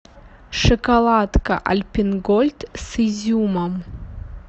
шоколадка альпен гольд с изюмом